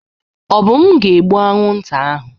Obum ga-egbu anwụnta ahụ.